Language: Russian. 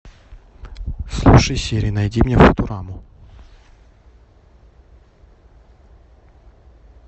слушай сири найди мне футураму